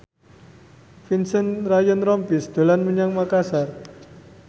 Vincent Ryan Rompies dolan menyang Makasar